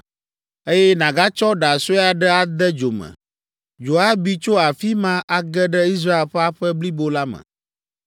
eye nàgatsɔ ɖa sue aɖe ade dzo me. Dzo abi tso afi ma age ɖe Israel ƒe aƒe blibo la me.